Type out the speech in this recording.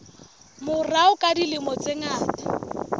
morao ka dilemo tse ngata